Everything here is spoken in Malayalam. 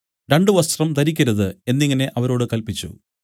രണ്ടു വസ്ത്രം ധരിക്കരുത് എന്നിങ്ങനെ അവരോട് കല്പിച്ചു